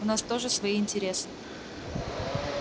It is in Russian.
у нас тоже свои интересы